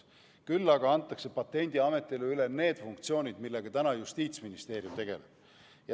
Küll aga antakse Patendiametile üle need funktsioonid, millega praegu tegeleb Justiitsministeerium.